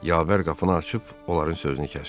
Yavər qapını açıb onların sözünü kəsdi.